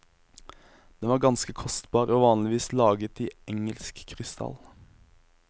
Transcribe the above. Den var ganske kostbar, og vanligvis laget i engelsk krystall.